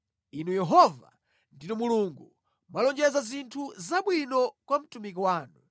Inu Yehova, ndinu Mulungu! Mwalonjeza zinthu zabwinozi kwa mtumiki wanu.